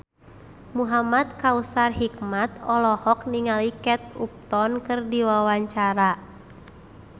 Muhamad Kautsar Hikmat olohok ningali Kate Upton keur diwawancara